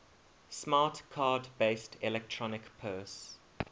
smart card based electronic purse